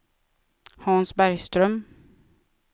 Hans Bergström